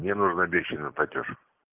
мне нужен обещанный платёж